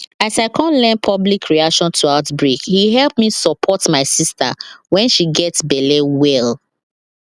as i come learn public reaction to outbreake help me support my sister when she gets belle well